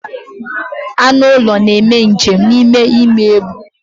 Anụ ụlọ na-eme njem n'ime igbe ebu.